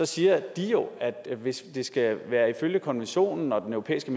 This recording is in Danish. siger de jo at hvis det skal følge konventionen og den europæiske